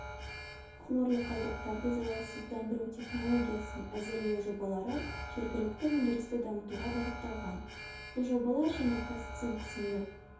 хлорлы қалдықтарды залалсыздандыру технологиясын әзірлеу жобалары жергілікті өндірісті дамытуға бағытталған бұл жобалар және казцинк сынды